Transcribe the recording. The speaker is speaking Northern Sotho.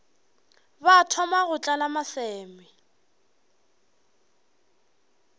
ba thoma go tlala maseme